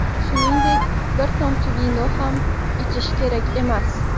Shuningdek, bir tomchi ham vino ichish kerak emas.